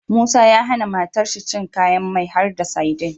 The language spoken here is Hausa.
Musa ya hAna matar shi cin kayan mai ko har da sadin